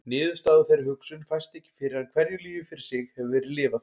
Niðurstaða úr þeirri hugsun fæst ekki fyrr en hverju lífi fyrir sig hefur verið lifað.